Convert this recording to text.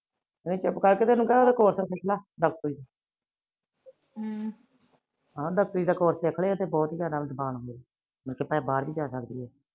ਚੁਪ ਕਰਕੇ ਕੇ ਤੇ ਇਹਨੂੰ ਕਹਿ ਕੋਰਸ ਸਿੱਖਲਾ ਡਾਕ੍ਟਰੀ ਦਾ ਹਮ ਡਾਕ੍ਟਰੀ ਦਾ ਕੋਰਸ ਸਿੱਖਲਾ ਇਹ ਤਾ ਬਹੁਤ ਹੀ ਜਾਦਾ ਅਸਾਨ ਆ ਭਾਈ, ਇਹ ਬਾਹਰ ਵੀ ਜਾ ਸਕਦੀ ਏ